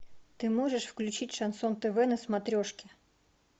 ты можешь включить шансон тв на смотрешке